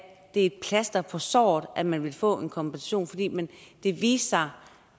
det er et plaster på såret at man vil få en kompensation fordi det viste sig